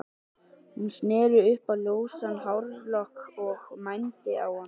Hún sneri upp á ljósan hárlokk og mændi á hann.